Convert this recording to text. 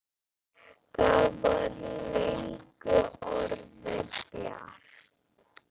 Það var löngu orðið bjart.